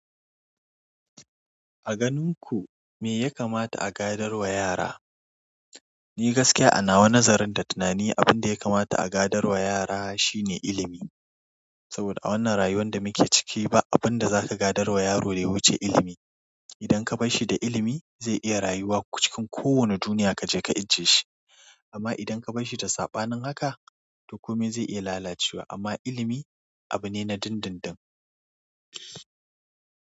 A ganin ku me ya kamata a gadar wa yara? Ni gaskiya ana wa nazarin da tunani, abin da ya kamata a gadar wa yara shi ne ilimi. Saboda a wannan rayuwar da muke ciki ba abin da zaka gadar wa yaro da ya wuce ilimi. Idan ka bar shi da ilimi, zai iya rayuwa cikin kowane duniya ka je ka ijiye shi. Amma idan ka bar shi da saɓanin haka, to komai zai iya lalacewa amma ilimi abu ne na dindindin.